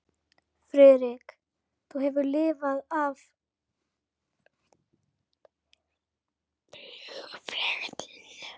Friðrik, þú hefur lifað af flugferðina